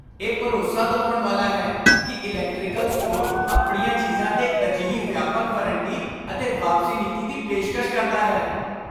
ਇਹ ਭਰੋਸਾ ਦਿਵਾਉਣ ਵਾਲਾ ਹੈ ਕਿ ਇਲੈਕਟ੍ਰੀਕਲ ਸਟੋਰ ਆਪਣੀਆਂ ਚੀਜ਼ਾਂ 'ਤੇ ਅਜਿਹੀ ਵਿਆਪਕ ਵਾਰੰਟੀ ਅਤੇ ਵਾਪਸੀ ਨੀਤੀ ਦੀ ਪੇਸ਼ਕਸ਼ ਕਰਦਾ ਹੈ।